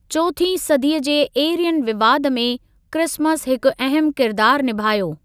चौथीं सदीअ जे एरियन विवाद में क्रिसमस हिकु अहम किरदार निभायो।